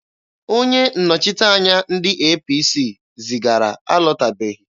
Onye nnọchiteanya ndị APC zigara alọtabeghị.